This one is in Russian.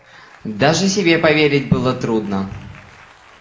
даже себе поверить было трудно